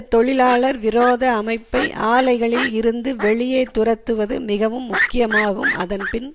தொழிலாளர்விரோத அமைப்பை ஆலைகளில் இருந்து வெளியே துரத்துவது மிகவும் முக்கியமாகும் அதன் பின்